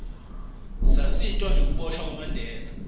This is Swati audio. satiswa nengukiboshwa kwamanbela